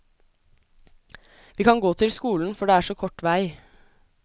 Vi kan gå til skolen, for det er så kort vei.